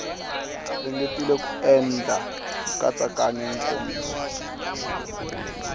ringetile ku endla nkatsakanyo nkomiso